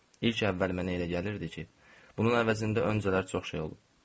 İlk əvvəl mənə elə gəlirdi ki, bunun əvəzində öncələr çox şey olub.